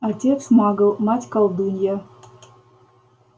отец магл мать колдунья